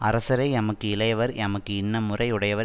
அரசரை எமக்கு இளையவர் எமக்கு இன்ன முறை உடையவர்